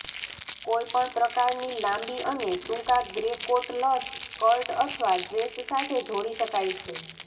કોઈપણ પ્રકારની લાંબી અને ટૂંકા ગ્રે કોટ લશ સ્કર્ટ અથવા ડ્રેસ સાથે જોડી શકાય છે